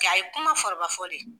Nga a ye kuma foroba fɔ de.